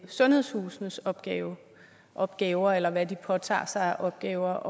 sundhedshusenes opgaver opgaver eller hvad de påtager sig af opgaver